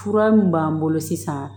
Fura min b'an bolo sisan